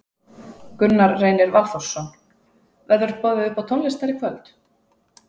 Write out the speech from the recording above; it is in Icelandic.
Gunnar Reynir Valþórsson: Verður boðið upp á tónlist þar í kvöld?